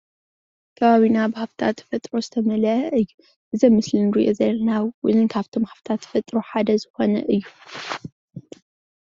ከባቢና ብሃፍትታት ተፈጥሮ ዝተመልኦ እዩ፡፡ እዚ ምስሊ እንርኦ ዘለና እውን ካብቶም ሃፍትታት ተፈጥሮ ሓደ ዝኾነ እዩ፡፡